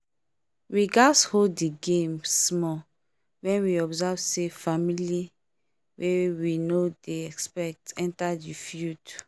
we gats hold the game small when we observe say family wey we no dey expect enter the field